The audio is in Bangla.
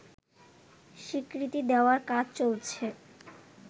স্বীকৃতি দেওয়ার কাজ চলছে